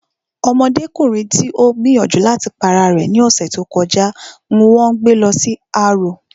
Ọmọdékùnrin tí ó gbìyànjú láti pa ara rẹ̀ ní ọ̀sẹ̀ tí ó kọjá n wón gbé lọ sí arò